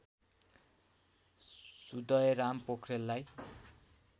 Sudayaram पोख्रेललाई